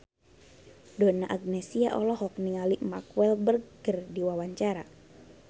Donna Agnesia olohok ningali Mark Walberg keur diwawancara